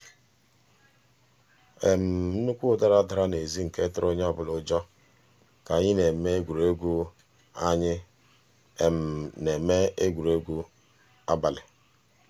nnukwu ụda dara n'ezi nke tụrụ onye ọbụla ụjọ ka anyị na-eme egwuregwu anyị na-eme egwuregwu abalị.